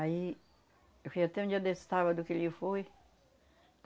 Aí, eu fui até um dia desse sábado que ele foi.